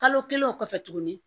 Kalo kelen o kɔfɛ tuguni